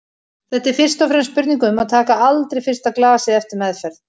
Þetta er fyrst og fremst spurning um að taka aldrei fyrsta glasið eftir meðferð.